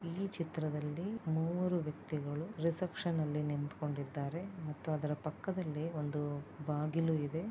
ಇಲ್ಲಿ ಚಿತ್ರದಲ್ಲಿ ಮೂವರು ವ್ಯಕ್ತಿಗಳು ರೆಸಿಪೆಕ್ಷನ್ ನಲ್ಲಿ ನಿಂತು ಕೊಂಡಿದ್ದಾರೆ ಮತ್ತು ಅದರ ಪಕ್ಕದಲ್ಲಿ ಒಂದು ಬಾಗಿಲು ಇದೆ.